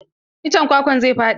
Iccen kwakwan zai faɗi.